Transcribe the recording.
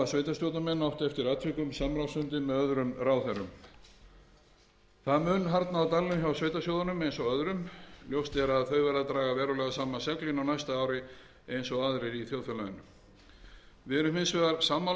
sveitarstjórnarmenn átt eftir atvikum samráðsfundi með öðrum ráðherrum það mun harðna á dalnum hjá sveitarsjóðunum eins og öðrum ljóst er að þau verða að draga verulega saman seglin á næsta ári eins og aðrir í þjóðfélaginu við erum hins vegar sammála um